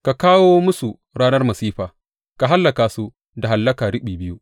Ka kawo musu ranar masifa; ka hallaka su da hallaka riɓi biyu.